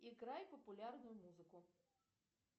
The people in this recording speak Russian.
играй популярную музыку